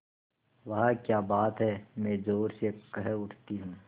वाह क्या बात है मैं ज़ोर से कह उठती हूँ